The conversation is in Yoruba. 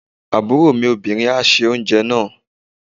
Àbúrò mi obìnrin á se oúnjẹ náà.